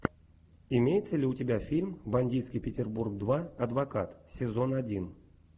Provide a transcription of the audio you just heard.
имеется ли у тебя фильм бандитский петербург два адвокат сезон один